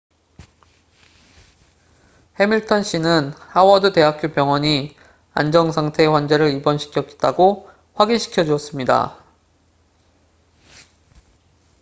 해밀턴 씨는 하워드 대학교 병원이 안정 상태의 환자를 입원시켰다고 확인 시켜 주었습니다